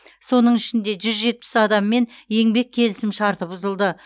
соның ішінде жүз жетпіс адаммен еңбек келісімшарты бұзылды